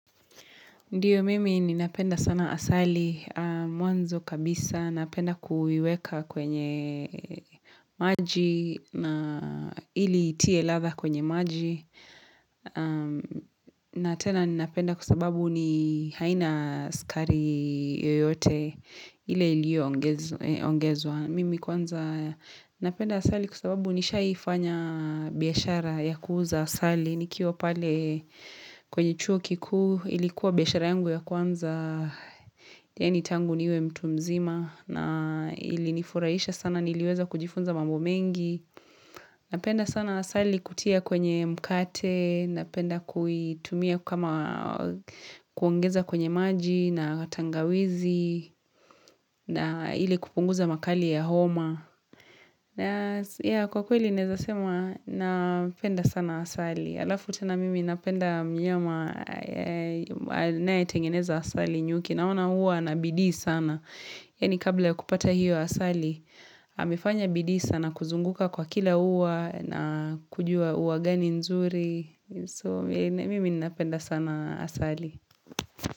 Ndio mimi ninapenda sana asali mwanzo kabisa. Napenda kuiweka kwenye maji na ili itie ladha kwenye maji. Na tena ninapenda kusababu ni haina sukari yoyote ile iliyoongezwa. Mimi kwanza napenda asali kwa sababu nishaifanya biashara ya kuuza asali. Nikiwa pale kwenye chuo kikuu ilikuwa biashara yangu ya kwanza yaani tangu niwe mtu mzima na ilinifuraisha sana niliweza kujifunza mambo mengi napenda sana asali kutia kwenye mkate napenda kuitumia kama kuongeza kwenye maji na tangawizi na ili kupunguza makali ya homa ya kwa kweli naeza sema napenda sana asali halafu tena mimi napenda mnyama anayetengeneza asali nyuki naona huwa anabidii sana. Yaani kabla kupata hiyo asali, amefanya bidii sana kuzunguka kwa kila ua na kujua ua gani nzuri. So mimi napenda sana asali.